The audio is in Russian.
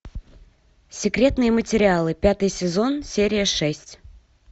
секретные материалы пятый сезон серия шесть